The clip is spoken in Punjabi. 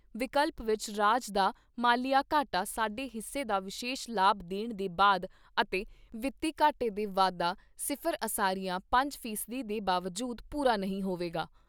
ਵਿਕਲਪ ਵਿਚ ਰਾਜ ਦਾ ਮਾਲੀਆ ਘਾਟਾ, ਸਾਡੇ ਹਿੱਸੇ ਦਾ ਵਿਸ਼ੇਸ਼ ਲਾਭ ਲੈਣ ਦੇ ਬਾਅਦ ਅਤੇ ਵਿੱਤੀ ਘਾਟੇ ਦੇ ਵਾਧਾ ਸਿਫ਼ਰ ਅਸਾਰੀਆ ਪੰਜ ਫੀਸਦੀ ਦੇ ਬਾਵਜੂਦ ਪੂਰਾ ਨਹੀਂ ਹੋਵੇਗਾ।